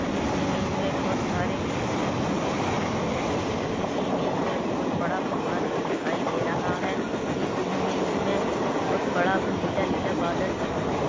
इस इमेज में बहोत सारे पेड़े है लगे हुए दिखाई दे रहे है इस इमेज में बहुत बड़ा पहार दिखाई दे रहा है इस इमेज में बहुत बड़ा ब लीला लीला बादल दिखाई दे रहा है।